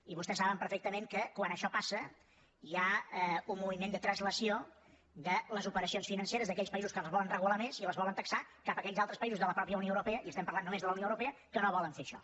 i vostès saben perfectament que quan això passa hi ha un moviment de translació de les operacions financeres d’aquells països que les volen regular més i les volen taxar cap a aquells altres països de la mateixa unió europea i estem parlant només de la unió europea que no volen fer això